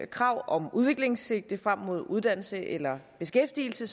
krav om udviklingssigte frem mod uddannelse eller beskæftigelse